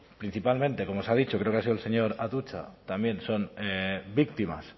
principalmente como se ha dicho creo que ha sido el señor atutxa también son víctimas